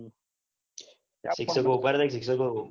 શિક્ષકો ઉભા રહ્યા તા શિક્ષકો